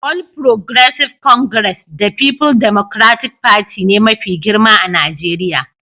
All Progressive Congress da People Democratic Party ne mafi girma a Najeriya